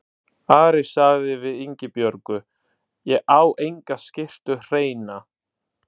Ari sagði við Ingibjörgu: Ég á enga skyrtu hreina.